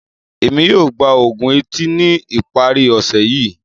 Emi yoo gba oògùn eti ni ipari ọse yii.